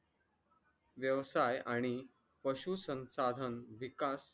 व्यवसाय आणि पशु संसाधन विकास